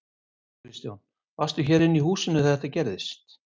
Kristján: Varstu hér inni í húsinu þegar þetta gerðist?